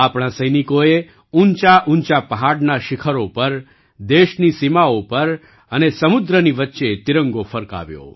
આપણા સૈનિકોએ ઊંચાઊંચા પહાડના શિખરો પર દેશની સીમાઓ પર અને સમુદ્રની વચ્ચે તિરંગો ફરકાવ્યો